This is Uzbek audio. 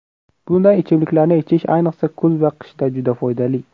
Bunday ichimliklarni ichish ayniqsa kuz va qishda juda foydali.